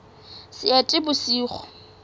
seetebosigo